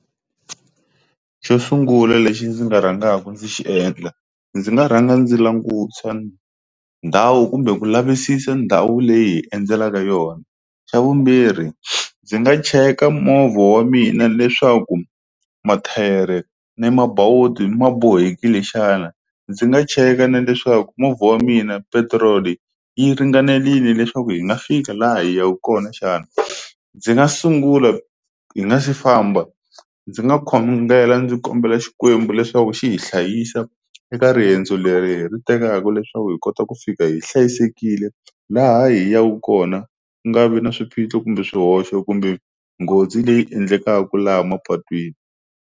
Xo sungula lexi ndzi nga rhangaku ndzi xi endla ndzi nga rhanga ndzi langusa ndhawu kumbe ku lavisisa ndhawu leyi hi endzelaka yona, xa vumbirhi ndzi nga cheka movha wa mina leswaku mathayere ni mabawuti ma bohekile xana ndzi nga cheka na leswaku movha wa mina petiroli yi ringanelile leswaku hi nga fika laha yi yaku kona xana ndzi nga sungula hi nga si famba ndzi nga khongela ndzi kombela Xikwembu leswaku xi hi hlayisa eka riyendzo leri hi ri tekaku leswaku hi kota ku fika hi hlayisekile laha hi yaku kona ku nga vi na swiphiqo kumbe swihoxo kumbe nghozi leyi endlekaka laha mapatwini.